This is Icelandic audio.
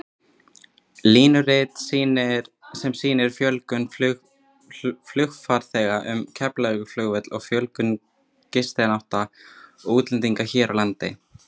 Línurit sem sýnir fjölgun flugfarþega um Keflavíkurflugvöll og fjölgun gistinátta útlendinga hér á landi.